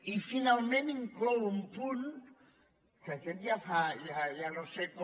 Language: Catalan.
i finalment inclou un punt que aquest ja no sé com